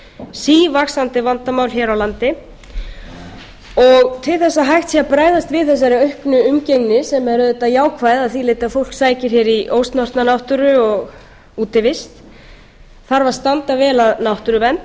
sívaxandi vandamál hér á landi til þess að hægt sé að bregaðst við þessari auknu umgengni sem er auðvitað jákvæð að því leyti að fólk sækir hér í ósnortna náttúru og útivist þarf að standa vel að náttúruvernd